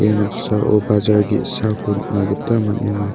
noksao bajar ge·sako nikna gita man·a.